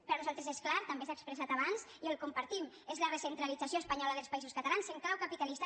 per nosaltres és clar també s’ha expressat abans i ho compartim és la recentralització espanyola dels països catalans en clau capitalista